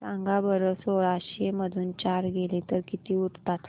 सांगा बरं सोळाशे मधून चार गेले तर किती उरतात